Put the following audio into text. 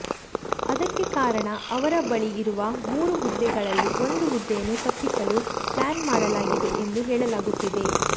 ಅದಕ್ಕೆ ಕಾರಣ ಅವರ ಬಳಿ ಇರುವ ಮೂರು ಹುದ್ದೆಗಳಲ್ಲಿ ಒಂದು ಹುದ್ದೆಯನ್ನು ತಪ್ಪಿಸಲು ಪ್ಲಾನ್ ಮಾಡಲಾಗಿದೆ ಎಂದು ಹೇಳಲಾಗುತ್ತಿದೆ